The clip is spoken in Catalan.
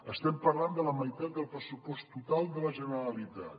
estem parlant de la meitat del pressupost total de la generalitat